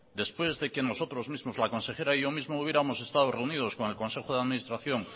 después de que nosotros mismos la consejera y yo mismo hubiéramos estado reunidos con el consejo de administración